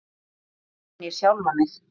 Þar fann ég sjálfan mig.